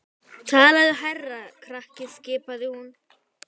Talaðu hærra krakki skipaði hún.